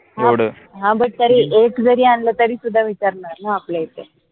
हां but तरी एक जरी आनल तरी सुद्धा विचारनार ना आपल्या इथे